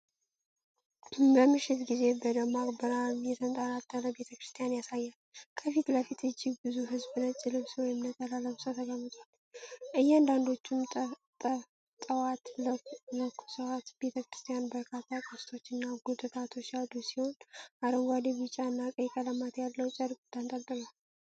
በመሸት ጊዜ በደማቅ ብርሃን የተንጣለለ ቤተ ክርስቲያንን ያሳያል። ከፊት ለፊት እጅግ ብዙ ሕዝብ ነጭ ልብስ (ነጠላ) ለብሶ ተቀምጧል፤ አንዳንዶቹም ጠዋፍ ለኩሰዋል። ቤተ ክርስቲያኑ በርካታ ቅስቶችና ጉልላቶች ያሉት ሲሆን፤ አረንጓዴ፣ ቢጫ እና ቀይ ቀለማት ያለው ጨርቅ ተንጠልጥሏል።